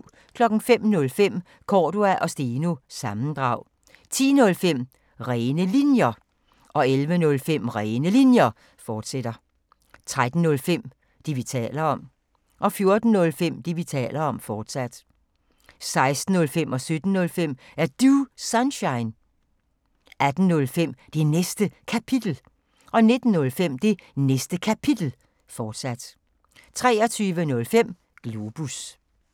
05:05: Cordua & Steno – sammendrag 10:05: Rene Linjer 11:05: Rene Linjer, fortsat 13:05: Det, vi taler om 14:05: Det, vi taler om, fortsat 16:05: Er Du Sunshine? 17:05: Er Du Sunshine? 18:05: Det Næste Kapitel 19:05: Det Næste Kapitel, fortsat 23:05: Globus